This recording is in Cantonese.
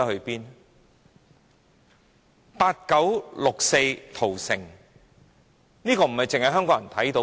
八九六四屠城，並非只有香港人看到。